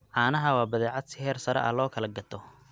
Caanaha waa badeecad si heer sare ah loo kala gato.